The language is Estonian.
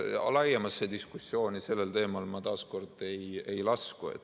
No laiemasse diskussiooni sellel teemal ma taas kord ei lasku.